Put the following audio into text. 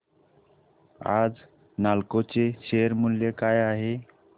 आज नालको चे शेअर मूल्य काय आहे